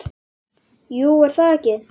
Jú, er það ekki?